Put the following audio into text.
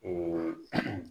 Ee